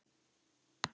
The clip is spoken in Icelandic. Hann var svo margt.